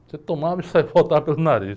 Você tomava e saia e voltava pelo nariz.